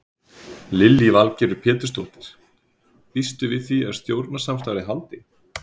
Lillý Valgerður Pétursdóttir: Býstu við því að stjórnarsamstarfið haldi?